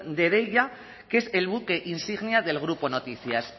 de deia que es el buque insignia del grupo noticias